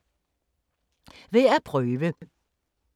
Værd at prøve